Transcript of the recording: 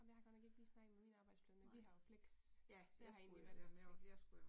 Men jeg har godt nok ikke lige snakket med min arbejdsplads, men vi har jo flex så jeg har egentlig valgt og flex